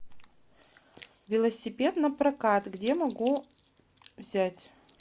велосипед на прокат где могу взять